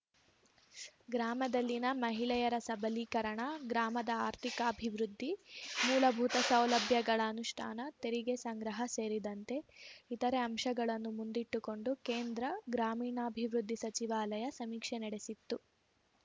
ಗ್ರಾಮದಲ್ಲಿನ ಮಹಿಳೆಯರ ಸಬಲೀಕರಣ ಗ್ರಾಮದ ಆರ್ಥಿಕಾಭಿವೃದ್ಧಿ ಮೂಲಭೂತ ಸೌಲಭ್ಯಗಳ ಅನುಷ್ಠಾನ ತೆರಿಗೆ ಸಂಗ್ರಹ ಸೇರಿದಂತೆ ಇತರೆ ಅಂಶಗಳನ್ನು ಮುಂದಿಟ್ಟುಕೊಂಡು ಕೇಂದ್ರ ಗ್ರಾಮೀಣಾಭಿವೃದ್ಧಿ ಸಚಿವಾಲಯ ಸಮೀಕ್ಷೆ ನಡೆಸಿತ್ತು